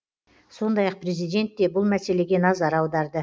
сондай ақ президент те бұл мәселеге назар аударды